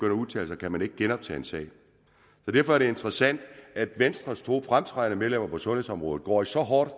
at udtale sig kan man ikke genoptage en sag derfor er det interessant at venstres to fremtrædende medlemmer på sundhedsområdet går så hårdt